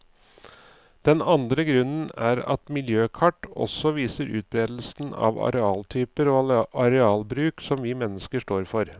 Den andre grunnen er at miljøkart også viser utberedelsen av arealtyper og arealbruk som vi mennesker står for.